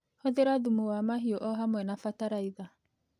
Hũthĩra thumu wa mahiũ o hamwe na bataraitha.